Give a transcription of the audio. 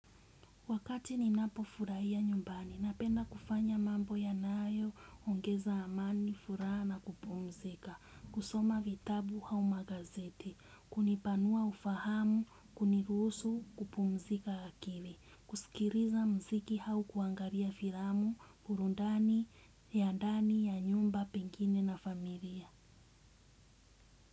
Wakati ninapo furahia nyumbani, napenda kufanya mambo ya nayo, ongeza amani, furaha na kupumzika, kusoma vitabu au magazeti, hunipanua ufahamu, kunirusu, kupumzika akili, kusikiliza mziki au kuangalia filamu, burundani, ya ndani, ya nyumba, pengine na familia.